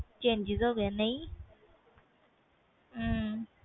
changes ਹੋ ਗਏ ਕੇ ਨਹੀਂ